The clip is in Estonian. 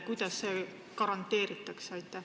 Kuidas see garanteeritakse?